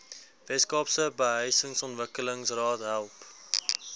weskaapse behuisingsontwikkelingsraad help